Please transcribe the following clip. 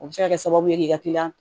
O bɛ se ka kɛ sababu ye k'i ka kiliyan